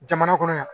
Jamana kɔnɔ yan